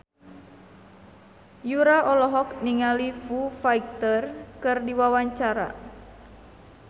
Yura olohok ningali Foo Fighter keur diwawancara